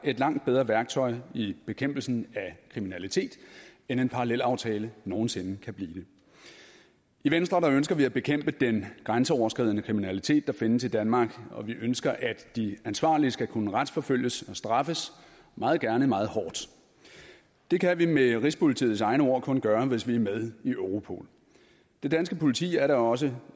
et langt bedre værktøj i bekæmpelsen af kriminalitet end en parallelaftale nogen sinde kan blive det i venstre ønsker vi at bekæmpe den grænseoverskridende kriminalitet der findes i danmark og vi ønsker at de ansvarlige skal kunne retsforfølges og straffes meget gerne meget hårdt det kan vi med rigspolitiets egne ord kun gøre hvis vi er med i europol det danske politi er da også